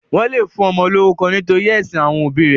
Wọ́n le fún ọmọ lórúkọ nítorí ẹ̀sìn àwọn òbí rẹ̀.